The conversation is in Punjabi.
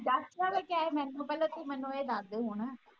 ਦਸ ਵ ਕਿਹਾ ਹੀ ਮੈ ਤੈਨੂੰ ਪਹਿਲਾ ਤੂੰ ਮੈਨੂੰ ਇਹ ਦਸਦੇ ਹੁਣ